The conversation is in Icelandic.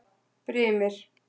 Brimir